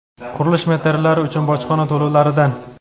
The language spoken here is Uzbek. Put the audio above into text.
qurilish materiallari uchun bojxona to‘lovlaridan.